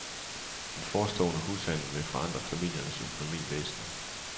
Den forestående hushandel vil forandre familiens økonomi væsentligt.